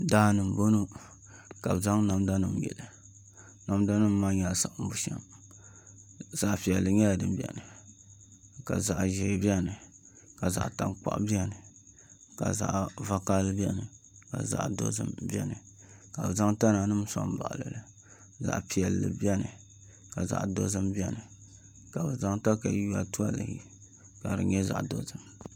Daani n bɔŋɔ ka bi zaŋ namda nim yili namda nim maa nyɛla siɣim bushɛm zaɣ piɛlli nyɛla din biɛni ka zaɣ ʒiɛ biɛni ka zaɣ tankpaɣu biɛni ka zaɣ vakaɣali biɛni ka zaɣ dozim biɛni ka bi zaŋ tana nim soŋ baɣali li zaɣ piɛlli biɛni ka zaɣ dozim biɛni ka bi zaŋ katawiya toli ka di nyɛ zaɣ dozim